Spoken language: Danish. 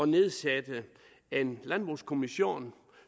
nedsætte en landbrugskommission